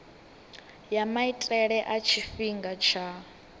ya maitele a tshifhinga tsha